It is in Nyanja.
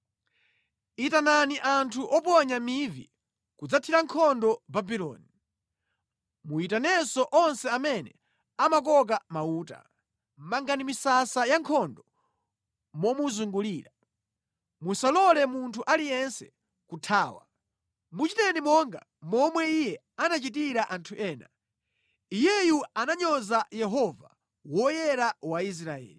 “Itanani anthu oponya mivi kudzathira nkhondo Babuloni. Muyitanenso onse amene amakoka mauta. Mangani misasa ya nkhondo momuzungulira; musalole munthu aliyense kuthawa. Muchiteni monga momwe iye anachitira anthu ena. Iyeyu ananyoza Yehova, Woyera wa Israeli.